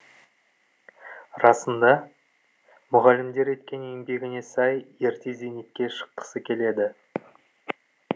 расында мұғалімдер еткен еңбегіне сай ерте зейнетке шыққысы келеді